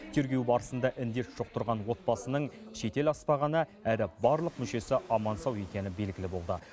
тергеу барысында індет жұқтырған отбасының шетел аспағаны әрі барлық мүшесі аман сау екені белгілі болды